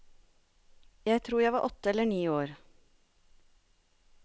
Jeg tror jeg var åtte eller ni år.